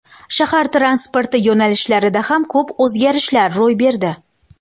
Shahar transporti yo‘nalishlarida ham ko‘p o‘zgarishlar yuz berdi.